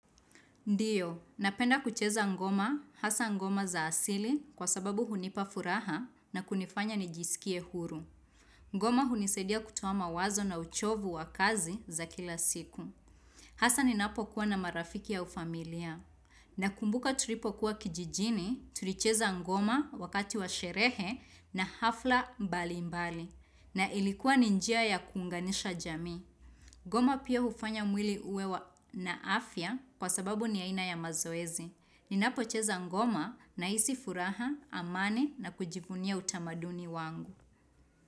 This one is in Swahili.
Ndiyo, napenda kucheza ngoma, hasa ngoma za asili kwa sababu hunipa furaha na kunifanya nijisikie huru. Ngoma hunisadia kutua mawazo na uchovu wa kazi za kila siku. Hasa ninapo kuwa na marafiki au familia. Na kumbuka tulipo kuwa kijijini, tulicheza ngoma wakati wa sherehe na hafla mbali mbali. Na ilikuwa ni njia ya kunganisha jamii. Goma pia hufanya mwili uwe na afya kwa sababu ni aina ya mazoezi. Ninapocheza ngoma na hisi furaha, amani na kujifunia utamaduni wangu.